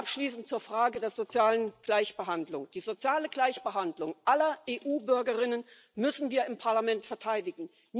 Abschließend zur Frage der sozialen Gleichbehandlung Die soziale Gleichbehandlung aller EU Bürger müssen wir im Parlament verteidigen.